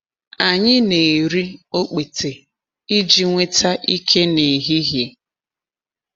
Anyị na-eri okpete iji nweta ike n’ehihie.